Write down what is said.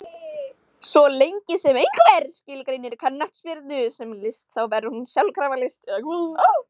Svo lengi sem einhver skilgreinir knattspyrnu sem list þá verður hún sjálfkrafa list, eða hvað?